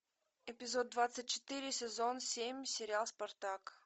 эпизод двадцать четыре сезон семь сериал спартак